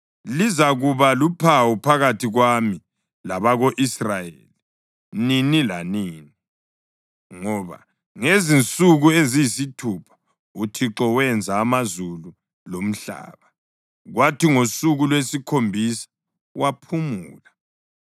Lizakuba luphawu phakathi kwami labako-Israyeli nini lanini. Ngoba ngezinsuku eziyisithupha uThixo wenza amazulu lomhlaba, kwathi ngosuku lwesikhombisa waphumula.’ ”